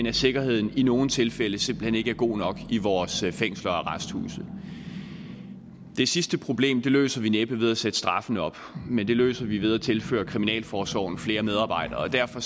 at sikkerheden i nogle tilfælde simpelt hen ikke er god nok i vores fængsler og arresthuse det sidste problem løser vi næppe ved at sætte straffen op men det løser vi ved at tilføre kriminalforsorgen flere medarbejdere og derfor